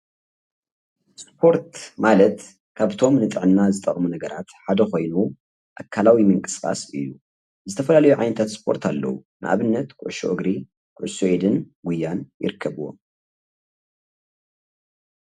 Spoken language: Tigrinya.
ስፖርት ማለት ካብቶም ንጥዕና ዝጠቅሙ ነገራት ሓደ ኮይኑ ኣካላዊ ምንቅስቃስ እዩ። ዝተፈላለዩ ዓይነታት ስፖርት ኣለዉ ። ንኣብነት ኩዕሶ እግሪ፣ ኩዕሶ ኢድን ጉያን ይርከብዎም።